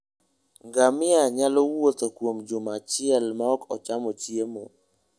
Ngamia nyalo wuotho kuom juma achiel maok ocham chiemo.